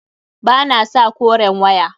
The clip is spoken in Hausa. Ba na sa koren waya.